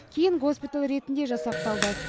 кейін госпиталь ретінде жасақталды